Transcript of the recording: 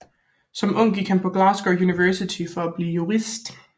Som ung gik han på Glasgow University for at blive jurist